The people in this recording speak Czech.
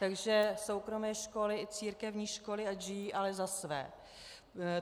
Takže soukromé školy i církevní školy ať žijí, ale za své.